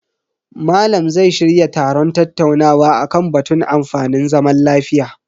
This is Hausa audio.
Malam zai shirya taron tattaunawa akan batun amfanin zaman lafiya.